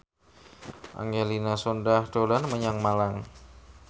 Angelina Sondakh dolan menyang Malang